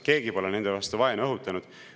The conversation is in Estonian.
Keegi pole nende vastu vaenu õhutanud.